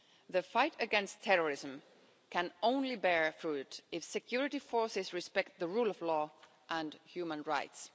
The fight against terrorism can only bear fruit if security forces respect the rule of law and human rights.